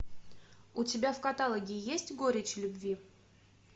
у тебя в каталоге есть горечь любви